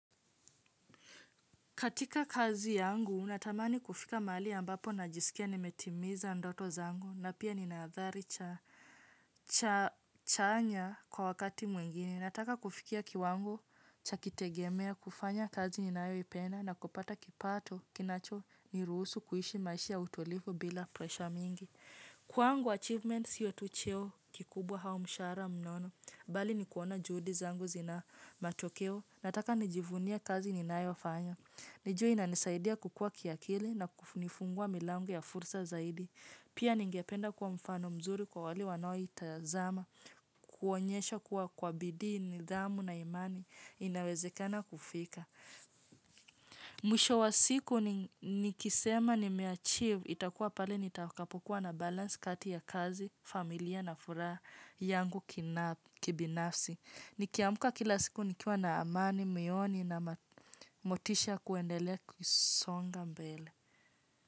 Katika kazi yangu, natamani kufika mahali ambapo najisikia nimetimiza ndoto zangu, na pia ninaadhari chanya kwa wakati mwingine. Nataka kufikia kiwango cha kitegemea, kufanya kazi ninayoipenda, na kupata kipato kinacho niruhusu kuishi maishi ya utulifu bila pressure mingi. Kwangu, achievements sio tu cheo kikubwa hau mshahara mnono, bali ni kuona juhudi zangu zina matokeo, nataka nijivunia kazi ninayo fanya. Nijue inanisaidia kukua kiakili na kufunifungua milango ya fursa zaidi. Pia ningependa kuwa mfano mzuri kwa wale wanaoitazama, kuonyesha kuwa kwa bidii, nidhamu na imani, inawezekana kufika. Mwisho wa siku nikisema nime achieve, itakuwa pale nitakapokuwa na balance kati ya kazi, familia na furaha yangu kibinafsi. Nikiamuka kila siku nikiwa na amani, moyoni na motisha kuendelea kusonga mbele.